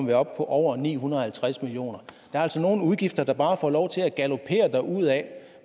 vi op på over ni hundrede og halvtreds million kroner er altså nogle udgifter der bare får lov til at galopere derudad